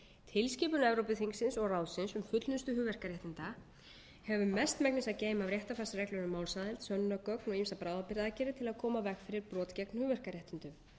tilskipun evrópuþingsins og ráðsins um fullnustu hugverkaréttinda hefur mestmegnis að geyma réttarfarsreglur um málsaðild sönnunargögn og ýmsar bráðabirgðaaðgerðir til að koma í veg fyrir brot gegn hugverkaréttindum af